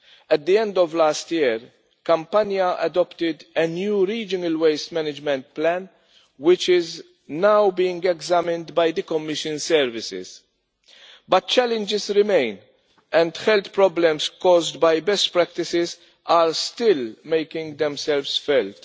At the end of last year, Campania adopted a new regional waste management plan which is now being examined by the Commission services. But challenges remain, and health problems caused by past practices are still making themselves felt.